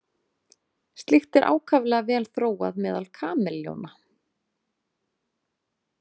Slíkt er ákaflega vel þróað meðal kameljóna.